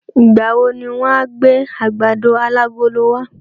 Ìgbà wo ni wọ́n á gbé àgbàdo alágolo wa?